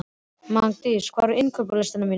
Magndís, hvað er á innkaupalistanum mínum?